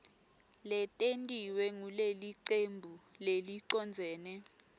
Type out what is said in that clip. letentiwe ngulelicembu lelicondzene